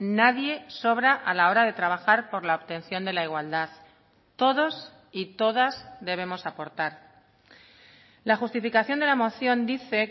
nadie sobra a la hora de trabajar por la obtención de la igualdad todos y todas debemos aportar la justificación de la moción dice